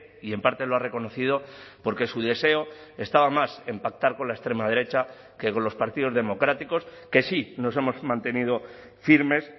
y en parte lo ha reconocido porque su deseo estaba más en pactar con la extrema derecha que con los partidos democráticos que sí nos hemos mantenido firmes